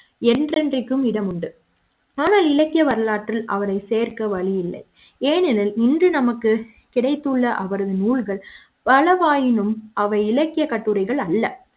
என்றேண்டைக்கும் இட முண்டு ஆனால் இலக்கிய வரலாற்றில் அவரை சேர்க்க வழி இல்லை ஏனெனில் இன்று நமக்கு கிடைத்துள்ள அவரது நூல்கள் பல வாயினும் அவை இலக்கியக் கட்டுரைகள் அல்ல